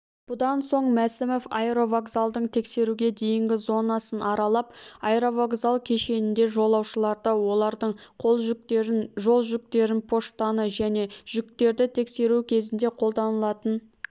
бұдан соң мәсімов аэровокзалдың тексеруге дейінгі зонасын аралап аэровокзал кешенінде жолаушыларды олардың қол жүктерін жолжүктерін поштаны және жүктерді тескеру кезінде қолданылатын